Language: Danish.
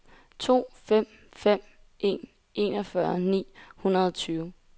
to fem fem en enogfyrre ni hundrede og tyve